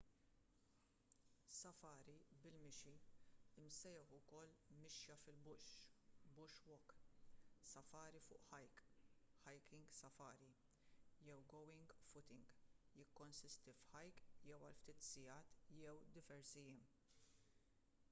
safari bil-mixi imsejjaħ ukoll mixja fil- bush” bush walk” safari fuq hike hiking safari” jew going footing"” jikkonsisti f’hike jew għal ftit sigħat jew diversi jiem